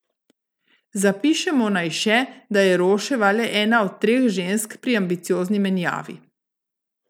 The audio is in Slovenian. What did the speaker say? Zapišemo naj še, da je Roševa le ena od treh žensk pri ambiciozni menjavi!